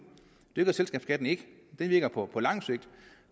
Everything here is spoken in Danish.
det gør sænkningen af selskabsskatten ikke den virker på lang sigt